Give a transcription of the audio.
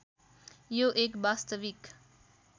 यो एक वास्तविक